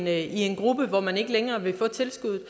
er i en gruppe hvor man ikke længere vil få tilskuddet